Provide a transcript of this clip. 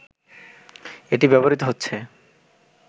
এটি ব্যবহৃত হচ্ছে